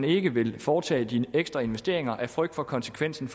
ikke vil foretage de ekstra investeringer af frygt for konsekvensen